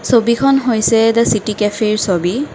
ছবিখন হৈছে এটা চিটি কেফেৰ ছবি।